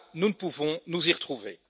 Cela, nous ne pouvons nous y retrouver.